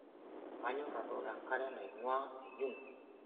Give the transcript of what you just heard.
Kanyorr atooko enkare naingua enyungu.